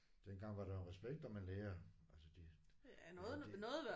Dengang var der jo respekt om en lærer altså de jamen de